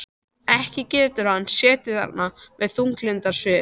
Ekki getur hann setið þarna með þunglyndissvip.